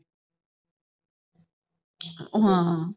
ਹਾਂ